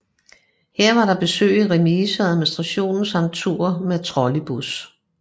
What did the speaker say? Her var der besøg i remise og administration samt tur med trolleybus